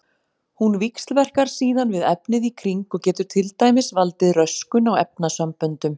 Hún víxlverkar síðan við efnið í kring og getur til dæmis valdið röskun á efnasamböndum.